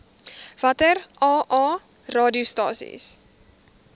watter aa radiostasies